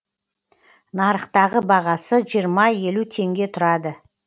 нарықтағы бағасы жиырма елу теңге тұрады